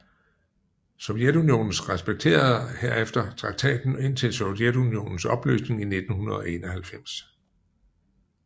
Sovjetunionen respekterede herefter traktaten indtil Sovjetunionens opløsning i 1991